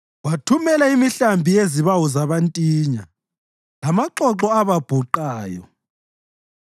Wathumela imihlambi yezibawu zabantinya, lamaxoxo ababhuqayo.